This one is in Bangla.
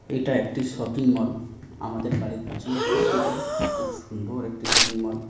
এটা একটি শপিংমল আমাদের বাড়ির কাছেই অবস্থিত খুব সুন্দর একটি শপিংমল ।